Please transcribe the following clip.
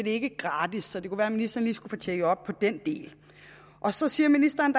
ikke gratis så det kunne være ministeren lige skulle få tjekket op på den del så siger ministeren